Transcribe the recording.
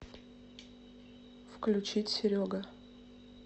включить серега